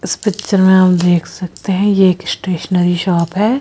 इस पिक्चर में हम देख सकते हैं ये एक स्टेशनरी शॉप है।